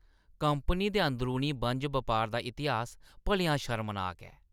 Company दे अंदरूनी बन्ज-बपार दा इतिहास भलेआं शर्मनाक ऐ।